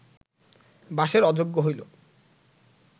বাসের অযোগ্য হইল